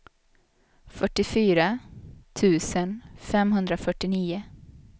fyrtiofyra tusen femhundrafyrtionio